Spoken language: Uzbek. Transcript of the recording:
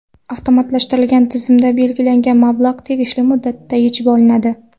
Avtomatlashtirilgan tizimda belgilangan mablag‘ tegishli muddatda yechib olinadi.